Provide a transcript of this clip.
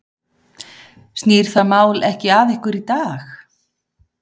Snýr það mál ekki að ykkur í dag?